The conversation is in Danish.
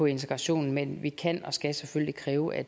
integrationen men vi kan og skal selvfølgelig kræve at